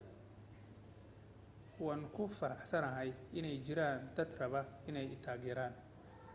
waan ku faraxsanahay inay jiraan dad raba inay i taageeraan